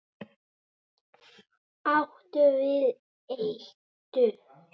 Áttu við eitur.